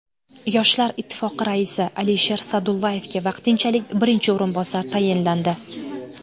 Yoshlar Ittifoqi raisi Alisher Sa’dullayevga vaqtinchalik birinchi o‘rinbosar tayinlandi.